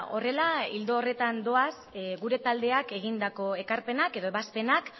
horrela ildo horretan doaz gure taldeak egindako ekarpenak edo ebazpenak